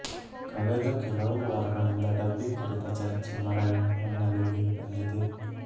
ಕಳೆದ ಕೆಲವು ವಾರಗಳಿಂದ ಡಬ್ಬಿಂಗ್ ಕುರಿತ ಚರ್ಚೆ ಮರಳಿ ಮುನ್ನೆಲೆಗೆ ಬಂದಿದೆ